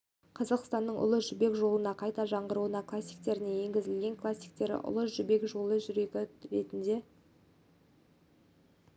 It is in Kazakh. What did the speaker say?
қазақстан облысы ұлы жібек жолын қайта жаңғырту кластеріне енгізіліп кластер ұлы жібек жолының жүрегі ретінде